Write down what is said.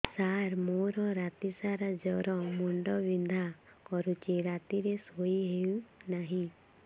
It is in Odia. ସାର ମୋର ରାତି ସାରା ଜ୍ଵର ମୁଣ୍ଡ ବିନ୍ଧା କରୁଛି ରାତିରେ ଶୋଇ ହେଉ ନାହିଁ